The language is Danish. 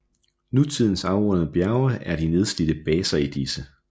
Nutidens afrundede bjerge er de nedslidte baser i disse